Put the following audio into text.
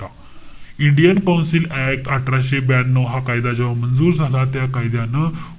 Indian council act, अठराशे ब्यानऊ हा कायदा जेव्हा मंजूर झाला. त्या कायद्यानं,